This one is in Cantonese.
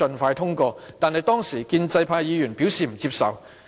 不過，當時建制派議員表示不接受。